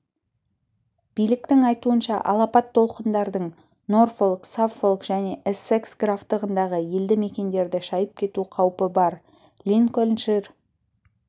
биліктің айтуынша алапат толқындардың норфолк саффолк және эссекс графтығындағы елді мекендерді шайып кету қаупі бар линкольншир